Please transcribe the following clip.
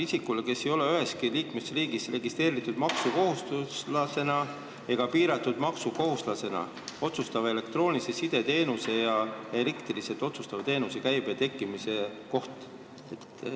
"Isikule, kes ei ole üheski liikmesriigis registreeritud maksukohustuslasena ega piiratud maksukohustuslasena, osutatava elektroonilise side teenuse ja elektrooniliselt osutatava teenuse käibe tekkimise koht.